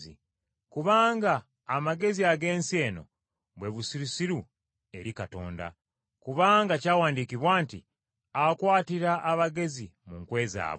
Kubanga amagezi ag’ensi eno, bwe busirusiru eri Katonda. Kubanga kyawandiikibwa nti, “Akwatira abagezi mu nkwe zaabwe.”